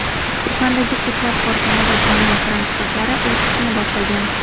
Uxandagi ko‘plab korxona va jamoat transportlari o‘z ishini boshlagan.